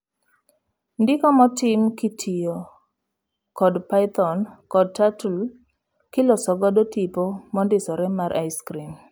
Ndiko motim kitiyo kod Python kod Turtle kiloso godo tipo mondisore mar ice cream.